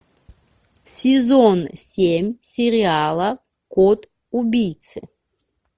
сезон семь сериала код убийцы